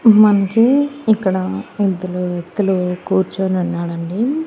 మనకి ఇక్కడ ఇద్దరు వ్యక్తులు కూర్చొనున్నాడండి.